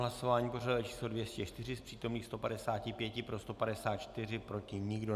Hlasování pořadové číslo 204, z přítomných 155, pro 154, proti nikdo.